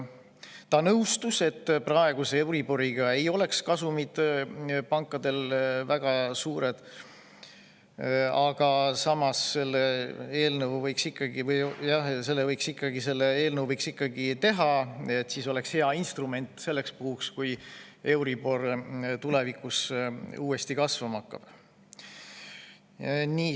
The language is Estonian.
Ta nõustus, et praeguse euriboriga ei oleks pankade kasumid väga suured, aga samas võiks selle eelnõu ikkagi teha, see oleks hea instrument selleks puhuks, kui euribor tulevikus uuesti kasvama hakkab.